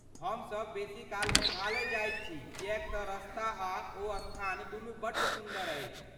हमसभ बेसीकाल मेघालय जाइत छी किएक तँ रस्ता आ ओ स्थान दुनू बड्ड सुन्दर अछि।